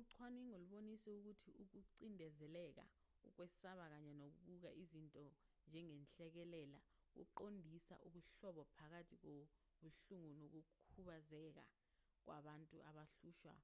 ucwaningo lubonise ukuthi ukucindezeleka ukwesaba kanye nokubuka izinto njengenhlekelele kuqondisa ubuhlobo phakathi kobuhlungu nokukhubazeka kubantu abahlushwa